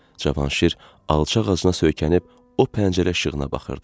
Cavanşir alçaq ağacına söykənib o pəncərə işığına baxırdı.